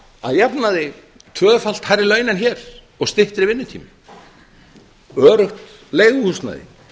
að jafnaði tvöfalt hærri laun en hér og styttri vinnutími öruggt leiguhúsnæði